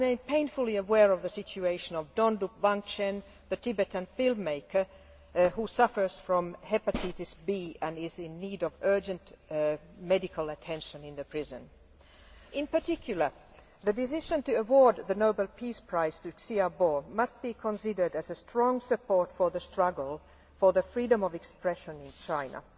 I remain painfully aware of the situation of Dhondup Wangchen, the Tibetan film maker, who suffers from hepatitis B and is in need of urgent medical attention in prison. The decision to award the Nobel Peace Prize to Liu Xiaobo must be considered as strong support for the struggle for freedom of expression in China.